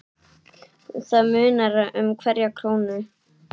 Það munar um hverja krónu.